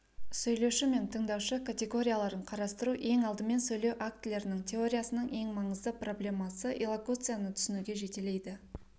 сөйлеуші мен тыңдаушы категорияларын қарастыру ең алдымен сөйлеу актілерінің теориясынының ең маңызды проблемасы иллокуцияны түсінуге жетелейді